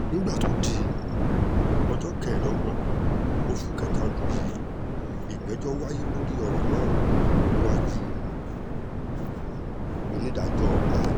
nígbà tó di ọjọ́ kẹẹ̀ẹ́dọ́gbọ̀n oṣù kẹta ọdún yìí ìgbẹ́jọ́ wáyé lórí ọ̀rọ̀ náà níwájú onídàájọ́ l